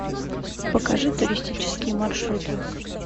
покажи туристические маршруты